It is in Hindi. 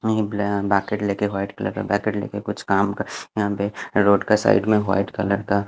बाकिट लेके वाइट कलर का बाकिट लेके कुछ काम यहा पे रोड का साइड में वाइट कलर का--